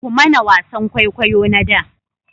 Ku mana wasan kwaikwayo na da